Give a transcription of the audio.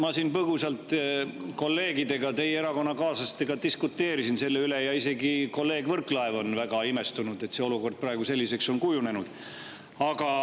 Ma siin põgusalt kolleegidega, teie erakonnakaaslastega diskuteerisin selle üle ja isegi kolleeg Võrklaev on väga imestunud, et see olukord on praegu selliseks kujunenud.